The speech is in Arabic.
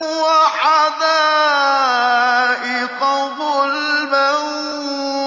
وَحَدَائِقَ غُلْبًا